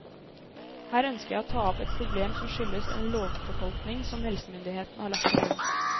Her ønsker jeg å ta opp et problem som skyldes en lovfortolkning som helsemyndighetene har lagt til grunn.